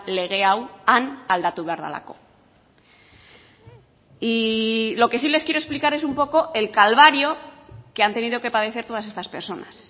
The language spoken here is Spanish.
lege hau han aldatu behar delako y lo que sí les quiero explicar es un poco el calvario que han tenido que padecer todas estas personas